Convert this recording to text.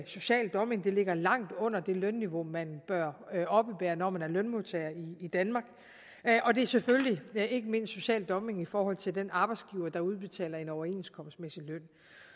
social dumping det ligger langt under det lønniveau man bør oppebære når man er lønmodtager i i danmark og det er selvfølgelig ikke mindst social dumping i forhold til den arbejdsgiver der udbetaler en overenskomstmæssig løn